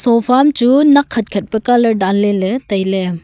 fofa am chu nak khat khat pe colour dan ley tai ley.